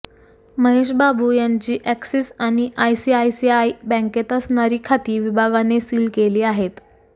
महेश बाबू यांची ऍक्सिस आणि आयसीआयसीआय बॅंकांत असणारी खाती विभागाने सील केली आहेत